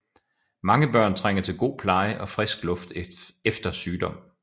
Mange børn trænger til god pleje og frisk luft efter sygdom